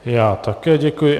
Já také děkuji.